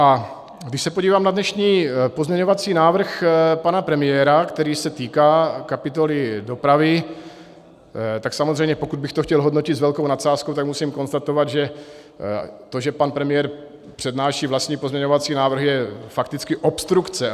A když se podívám na dnešní pozměňovací návrh pana premiéra, který se týká kapitoly dopravy, tak samozřejmě pokud bych to chtěl hodnotit s velkou nadsázkou, tak musím konstatovat, že to, že pan premiér přednáší vlastní pozměňovací návrhy, je fakticky obstrukce.